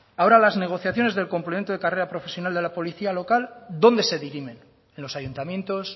ahora las negociaciones del complemento de carrera profesional de la policía local dónde se dirimen en los ayuntamientos